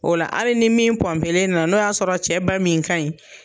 O la hali ni min pɔnpelen na n'o y'a sɔrɔ cɛ ba min ka ɲi